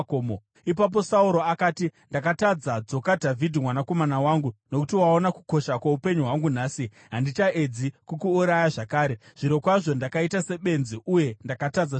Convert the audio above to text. Ipapo Sauro akati, “Ndakatadza. Dzoka, Dhavhidhi mwanakomana wangu. Nokuti waona kukosha kwoupenyu hwangu nhasi, handichaedzi kukuuraya zvakare. Zvirokwazvo ndakaita sebenzi uye ndakatadza zvikuru.”